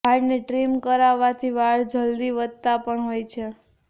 વાળને ટ્રિમ કરાવવાથી વાળ જલ્દી વધતા પણ હોય છે